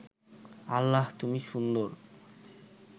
আল্লাহ তুমি সুন্দর